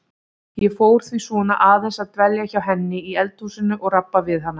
Ég fór því svona aðeins að dvelja hjá henni í eldhúsinu og rabba við hana.